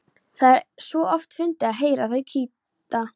Það er svo oft fyndið að heyra þau kýta.